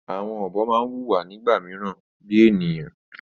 Àwọn ọ̀bọ ma n wùwà nígbà míràn bíi ènìyàn